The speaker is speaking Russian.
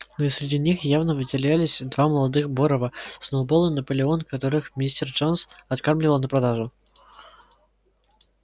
но и среди них явно выделялись два молодых борова сноуболл и наполеон которых мистер джонс откармливал на продажу